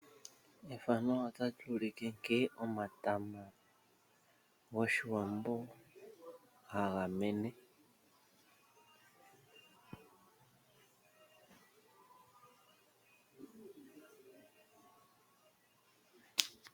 Omatama goshiwambo ohaga mene uuna omvula yaloko nawa. Ngele omvula yaloko nawa omatama ohaga tiligana nawa opo gavule okutonwako komiti opo gavule okukalandithwapo nenge gakaliwepo.